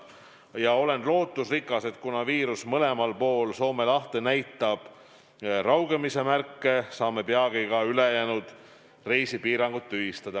Ma olen lootusrikas, et kuna viirus mõlemal pool Soome lahte näitab raugemise märke, siis saame peagi ka ülejäänud reisipiirangud tühistada.